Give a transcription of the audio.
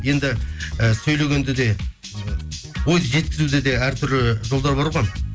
енді і сөйлегенде де ойды жеткізуде де әртүрлі жолдар бар ғой